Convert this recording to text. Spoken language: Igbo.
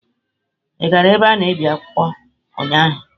Ị gara ebe a na-ebi akwụkwọ ụnyaahụ?